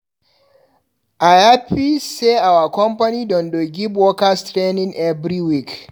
I hapi sey our company don dey give workers training every week.